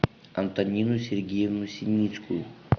антонину сергеевну синицкую